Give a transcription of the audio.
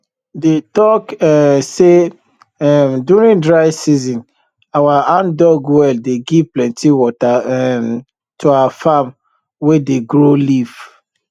dey talk um say um during dry season our handdug well dey give plenty water um to our farm wey dey grow leaf